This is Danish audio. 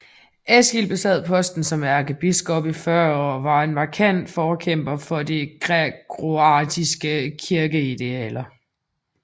Eskil besad posten som ærkebiskop i 40 år og var en markant forkæmper for de gregorianske kirkeidealer